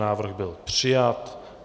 Návrh byl přijat.